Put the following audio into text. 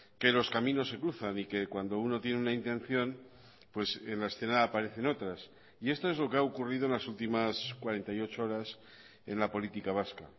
que los caminos se cruzan y que cuando uno tiene una intención pues en la escena aparecen otras y esto es lo que ha ocurrido en las últimas cuarenta y ocho horas en la política vasca